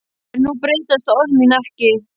En nú breytast orð mín ekki.